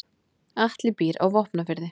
Atli býr á Vopnafirði.